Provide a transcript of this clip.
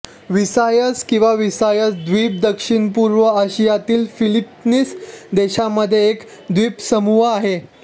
Visayas किंवा Visayas द्वीप दक्षिणपूर्व आशियातील फिलीपीन्स देशांमध्ये एक द्वीपसमूह आहे